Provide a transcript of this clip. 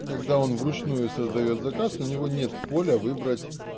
а когда он вручную создаёт заказ у него нет поля выбрать